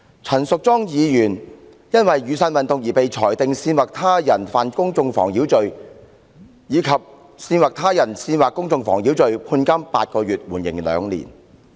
陳淑莊議員因被裁定在雨傘運動中干犯"煽惑他人犯公眾妨擾罪"及"煽惑他人煽惑公眾妨擾罪"而判監8個月，緩刑兩年。